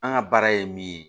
An ka baara ye min ye